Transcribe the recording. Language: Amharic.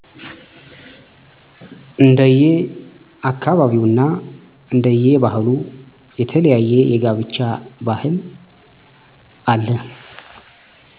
እንደየ አካባቢውና እንደየ ባህሉ የተለያየ የጋብቻ ባህል አለ